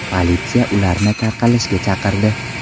Politsiya ularni tarqalishga chaqirdi.